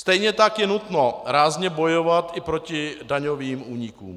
Stejně tak je nutno rázně bojovat i proti daňovým únikům.